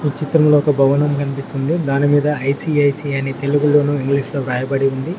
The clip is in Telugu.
ఈ చిత్రంలో ఒక భవనం కనిపిస్తుంది దానిమీద ఐ_సి_ఐ_సి_ఐ అని తెలుగులోను ఇంగ్లీషులో రాయబడి ఉంది.